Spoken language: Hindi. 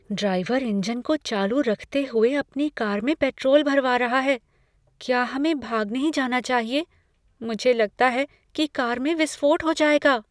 ड्राइवर इंजन को चालू रखते हुए अपनी कार में पेट्रोल भरवा रहा है। क्या हमें भाग नहीं जाना चाहिए? मुझे लगता है कि कार में विस्फोट हो जाएगा।